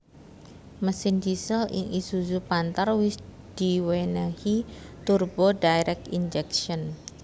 Mesin diesel ing isuzu panther wis diwénéhi turbo direct injection